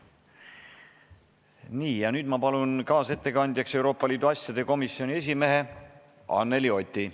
Ma palun kaasettekandjaks Euroopa Liidu asjade komisjoni esimehe Anneli Oti.